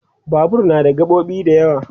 Babur na da gaɓoɓi da yawa